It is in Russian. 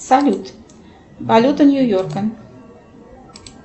салют валюта нью йорка